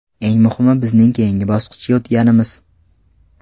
Eng muhimi bizning keyingi bosqichga o‘tganimiz.